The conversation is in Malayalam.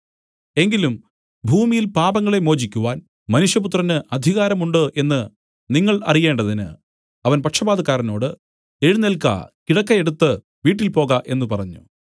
എങ്കിലും ഭൂമിയിൽ പാപങ്ങളെ മോചിക്കുവാൻ മനുഷ്യപുത്രന് അധികാരം ഉണ്ട് എന്നു നിങ്ങൾ അറിയേണ്ടതിന് അവൻ പക്ഷവാതക്കാരനോട് എഴുന്നേൽക്ക കിടക്ക എടുത്തു വീട്ടിൽ പോക എന്നു പറഞ്ഞു